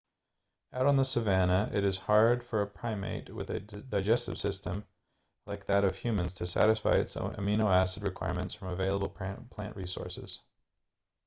out on the savanna it is hard for a primate with a digestive system like that of humans to satisfy its amino-acid requirements from available plant resources